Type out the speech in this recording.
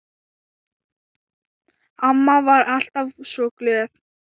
Amma var alltaf svo glöð.